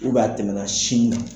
a tɛmɛna sin na.